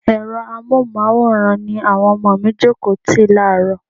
Ẹ̀rọ amohunmaworan ni àwọn ọmọ mi jókòó tì láàrọ́.